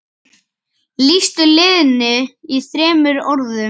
Lýstu liðinu í þremur orðum?